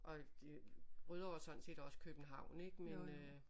Og det Rødovre er sådan set også København ik men øh